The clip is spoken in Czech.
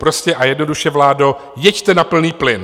Prostě a jednoduše, vládo, jeďte na plný plyn!